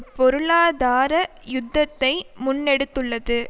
பொருளாதார யுத்தத்தை முன்னெடுத்துள்ளது